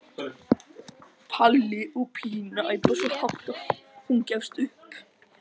Palli og Pína æpa svo hátt að hún gefst upp.